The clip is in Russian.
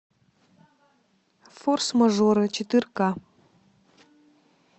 форс мажоры четырка